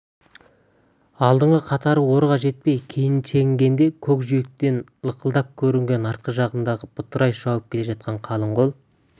алдыңғы қатары орға жетпей кейін шегінгенде көк жиектен лықылдап көрінген артқы жағындағы бытырай шауып келе жатқан қалың қол